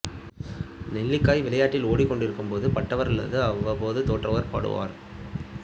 நெல்லிக்காய் விளையாட்டில் ஓடிக்கொண்டிருக்கும்போது பட்டவர் அல்லது அவ்வப்போது தோற்றவர் பாடுவார்